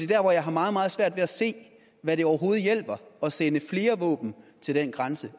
der hvor jeg har meget meget svært ved at se hvad det overhovedet hjælper at sende flere våben til den grænse